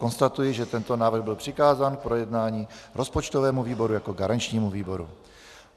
Konstatuji, že tento návrh byl přikázán k projednání rozpočtovému výboru jako garančnímu výboru.